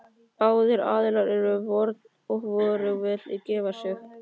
Báðir aðilar eru í vörn og hvorugur vill gefa sig.